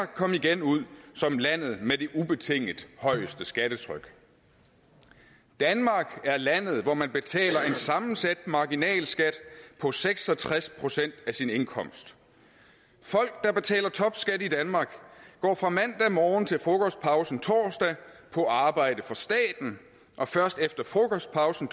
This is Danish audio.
kom igen ud som landet med det ubetinget højeste skattetryk danmark er landet hvor man betaler en sammensat marginalskat på seks og tres procent af sin indkomst folk der betaler topskat i danmark går fra mandag morgen til frokostpausen torsdag på arbejde for staten og først efter frokostpausen